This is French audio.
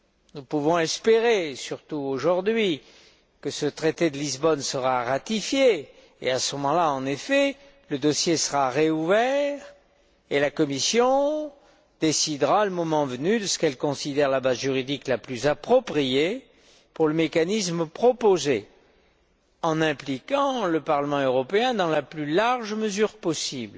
Nous pouvons espérer, surtout aujourd'hui, que ce traité de Lisbonne sera ratifié, et à ce moment là, en effet, le dossier sera rouvert et la Commission décidera, le moment venu, de ce qu'elle considère être la base juridique la plus appropriée pour le mécanisme proposé, en impliquant le Parlement européen dans la plus large mesure possible.